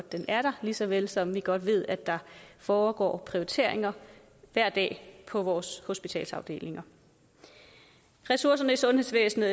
den er der lige så vel som vi godt ved at der foregår prioriteringer hver dag på vores hospitalsafdelinger ressourcerne i sundhedsvæsenet